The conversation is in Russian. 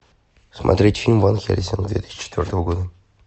смотреть фильм ван хельсинг две тысячи четвертого года